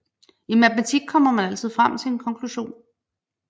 I matematik kommer man altid frem til en konklusion